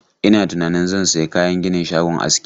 Ina tunanin zan sayi kayan ginin shagon aski.